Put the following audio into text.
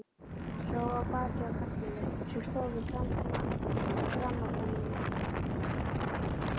Sá í bakið á karlmanni sem stóð við grammófóninn.